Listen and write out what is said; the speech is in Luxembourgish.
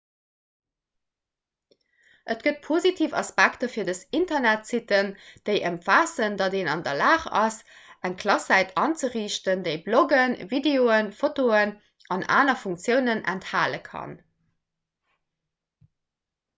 et gëtt positiv aspekter fir dës internetsitten déi ëmfaassen datt een an der lag ass eng klasssäit anzeriichten déi bloggen videoen fotoen an aner funktiounen enthale kann